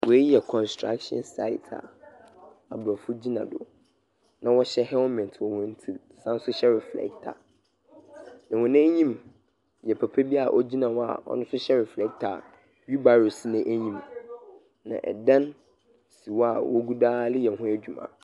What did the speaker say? Wei yɛ kɔnstrakhyin sait aa abrɔfo gyina do na wɔhyɛ hɛɛlmɛt wɔ wɔn tir san so hyɛ reflɛkta. Na wɔn anyim yɛ papa bi aa ogyina hɔ aa ɔno nso hyɛ reflɛkta aa whiilbaro si n'anyim. Na ɛdan si hɔ aa wogudu aa leyɛ ho adwuma.